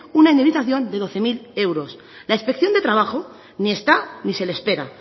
una indemnización de doce mil euros la inspección de trabajo ni está ni se le espera